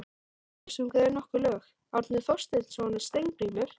Þar næst sungu þeir nokkur lög, Árni Thorsteinsson og Steingrímur